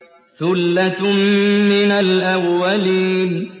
ثُلَّةٌ مِّنَ الْأَوَّلِينَ